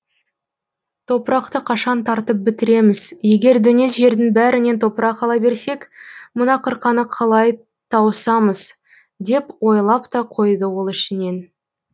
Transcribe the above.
топырақты қашан тартып бітіреміз егер дөңес жердің бәрінен топырақ ала берсек мына қырқаны қалай тауысамыз деп ойлап та қойды ол ішінен